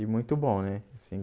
E muito bom, né? Assim